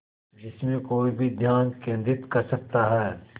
जिसमें कोई भी ध्यान केंद्रित कर सकता है